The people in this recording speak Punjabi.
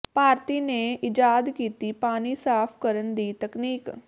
ਭਾਰਤੀ ਨੇ ਈਜਾਦ ਕੀਤੀ ਪਾਣੀ ਸਾਫ ਕਰਨ ਦੀ ਤਕਨੀਕ